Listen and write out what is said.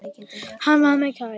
Hann var mér kær.